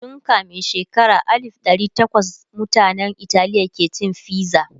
tun kamin shekara alif dari tawas mutanan Italiya ke cin fiza